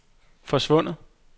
forsvundet